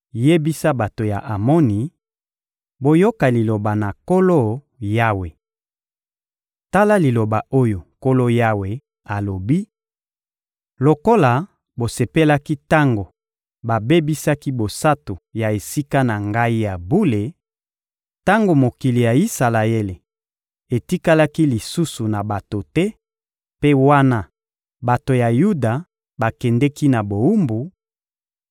Yebisa bato ya Amoni: ‹Boyoka liloba na Nkolo Yawe! Tala liloba oyo Nkolo Yawe alobi: Lokola bosepelaki tango babebisaki bosantu ya Esika na Ngai ya bule, tango mokili ya Isalaele etikalaki lisusu na bato te mpe wana bato ya Yuda bakendeki na bowumbu,